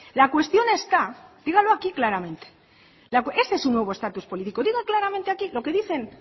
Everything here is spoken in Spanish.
la cuestión está díganlo aquí claramente ese es su nuevo estatus políticos diga claramente aquí lo que dicen